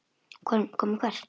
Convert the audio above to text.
Koma hvert?